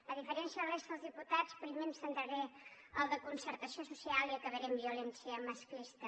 a diferència de la resta dels diputats primer em centraré en el de concertació social i acabaré amb el de violència masclista